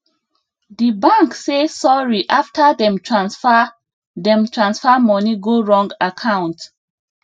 the bank say sorry after dem transfer dem transfer money go wrong account